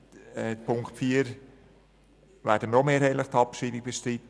Bei Punkt 4 werden wir ebenfalls mehrheitlich die Abschreibung bestreiten.